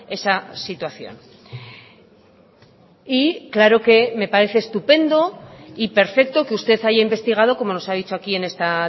esa situación y claro que me parece estupendo y perfecto que usted haya investigado como nos ha dicho aquí en esta